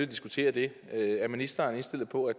diskutere det er ministeren indstillet på at